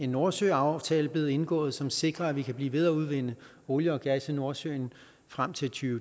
nordsøaftale blive indgået som sikrer at vi kan blive ved med at udvinde olie og gas i nordsøen frem til